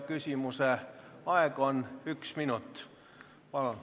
Küsimuse aeg on üks minut.